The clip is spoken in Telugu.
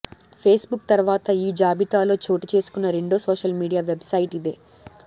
ఫేస్ బుక్ తర్వాత ఈ జాబితాలో చోటు చేసుకున్న రెండో సోషల్ మీడియా వెబ్ సైట్ ఇదే